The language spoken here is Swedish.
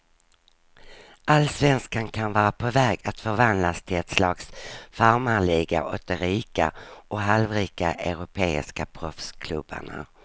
Allsvenskan kan vara på väg att förvandlas till ett slags farmarliga åt de rika och halvrika europeiska proffsklubbarna.